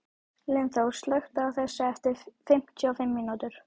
Lyngþór, slökktu á þessu eftir fimmtíu og fimm mínútur.